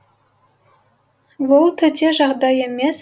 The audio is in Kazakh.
бұл төте жағдай емес